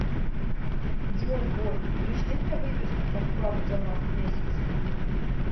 джой бой пришли мне выписку по вкладу за март месяц